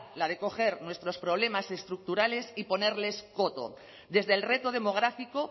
la de coger nuestros problemas estructurales y ponerles coto desde el reto demográfico